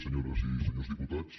senyores i senyors diputats